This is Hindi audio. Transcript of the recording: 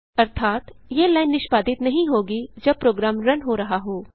अर्थात यह लाइन निष्पादित नहीं होगी जब प्रोग्राम रन हो रहा हो